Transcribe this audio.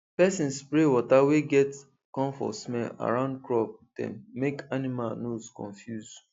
person spray water wey get camphor smell around crop dem make animal nose confuse